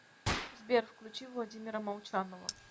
сбер включи владимира молчанова